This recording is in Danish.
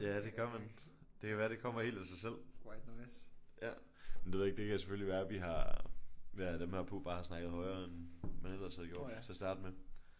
Ja det gør man. Det kan være det kommer helt af sig selv. Men det ved jeg ikke det kan selvfølgelig være vi har ved at have dem her på bare har snakket højere end man ellers havde gjort til at starte med